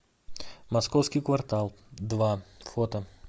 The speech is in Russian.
московский квартал два фото